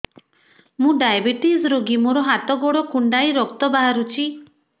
ମୁ ଡାଏବେଟିସ ରୋଗୀ ମୋର ହାତ ଗୋଡ଼ କୁଣ୍ଡାଇ ରକ୍ତ ବାହାରୁଚି